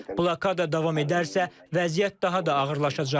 Blokada davam edərsə, vəziyyət daha da ağırlaşacaq.